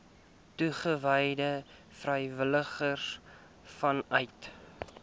toegewyde vrywilligers vanuit